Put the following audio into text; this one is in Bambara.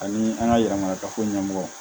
Ani an ka yɛlɛmakafo ɲɛmɔgɔ